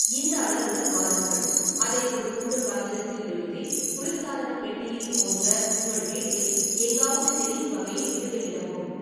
இந்த அளவுடன் வாருங்கள், அதை ஒரு துண்டு காகிதத்தில் எழுதி, குளிர்சாதன பெட்டியில் போன்ற உங்கள் வீட்டில் எங்காவது தெரியும் வகையில் இடுகையிடவும்.